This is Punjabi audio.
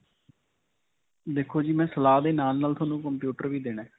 ਦੇਖੋ ਜੀ, ਮੈਂ ਸਲਾਹ ਦੇ ਨਾਲ-ਨਾਲ ਤੁਹਾਨੂੰ computer ਵੀ ਦੇਣਾ ਹੈ.